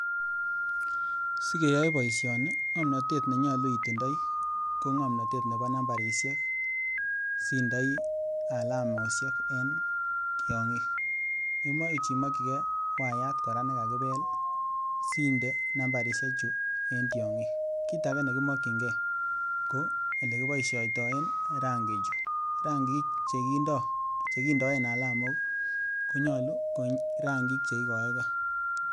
Sikeyoe boishoni ng'omnotet nenyolu itindoi ko ng'omnotet neboo nambarishek sindoii alamoshek en tiong'ik, imuuch imokyikee wayat kora nekakibel sindee nambarishe chuu en tiong'ik, kiit akee nekimokying'e ko elekiboishoitoen rangichuu, rangik chekindoen alamok konyolu ko rangik cheikoekee.